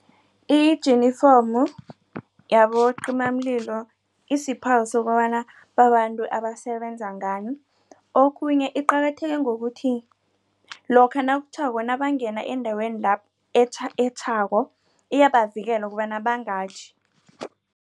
Ijinifomu yabocimamlilo isiphawu sokobana babantu abasebenza ngani. Okhunye iqakatheke ngokuthi lokha nakutjhako nabangena endaweni lapho etjhako iyabavikela ukobana bangatjhi.